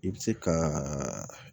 I bɛ se ka